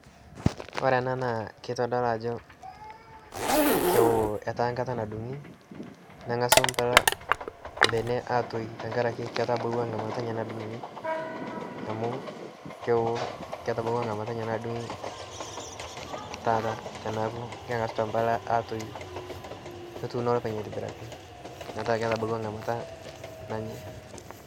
kore anaa naa keitodolu ajo kewo etaa nkata nadungi nengasu mpala tene atoiyu tankarake ketabawa ngamata enye nadungi taata tanaaku ketangasutua mpala enyana atoyu kotuuno lopeny aitibiraki metaa ketabawa nghamata enye nanyai